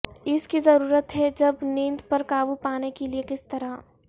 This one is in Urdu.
اس کی ضرورت ہے جب نیند پر قابو پانے کے لئے کس طرح